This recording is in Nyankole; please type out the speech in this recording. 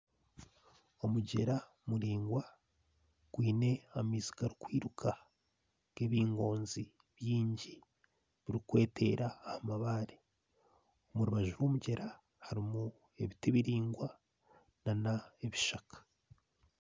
Omugyera muraingwa gwaine amaizi garikwiruka n'ebingoozi bingi birikweteera aha mabaare orubaju rw'omugyera harimu ebiti biraingwa nana ebishaka